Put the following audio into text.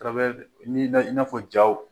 A travers ni na in'afɔ jaw